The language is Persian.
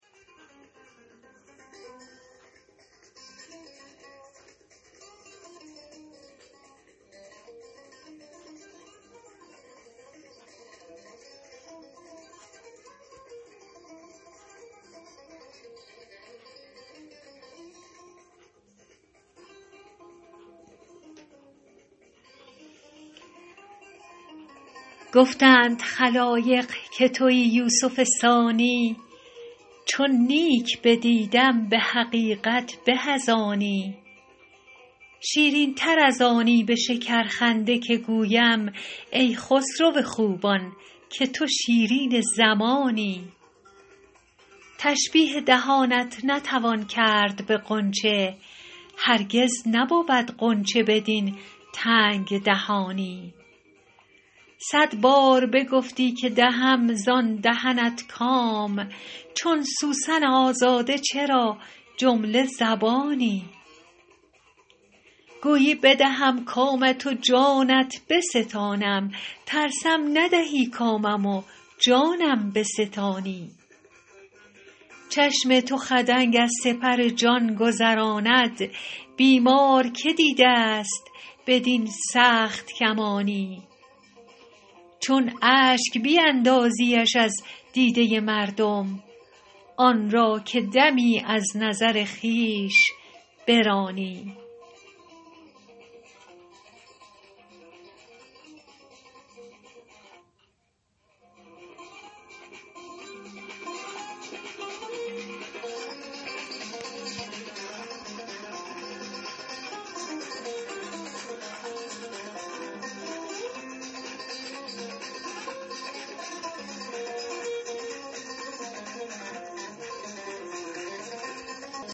گفتند خلایق که تویی یوسف ثانی چون نیک بدیدم به حقیقت به از آنی شیرین تر از آنی به شکرخنده که گویم ای خسرو خوبان که تو شیرین زمانی تشبیه دهانت نتوان کرد به غنچه هرگز نبود غنچه بدین تنگ دهانی صد بار بگفتی که دهم زان دهنت کام چون سوسن آزاده چرا جمله زبانی گویی بدهم کامت و جانت بستانم ترسم ندهی کامم و جانم بستانی چشم تو خدنگ از سپر جان گذراند بیمار که دیده ست بدین سخت کمانی چون اشک بیندازیش از دیده مردم آن را که دمی از نظر خویش برانی